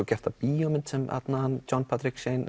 gerð bíómynd sem hann John